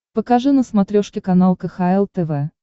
покажи на смотрешке канал кхл тв